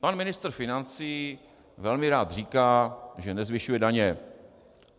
Pan ministr financí velmi rád říká, že nezvyšuje daně.